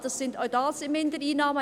Ja, auch das sind Mindereinnahmen.